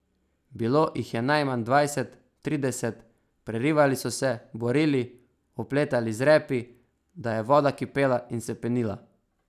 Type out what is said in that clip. Bilo jih je najmanj dvajset, trideset, prerivali so se, borili, opletali z repi, da je voda kipela in se penila.